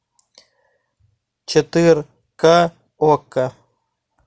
четыре ка окко